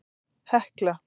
Hekla